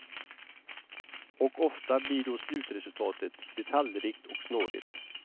Och ofta blir då slutresultatet detaljrikt och snårigt.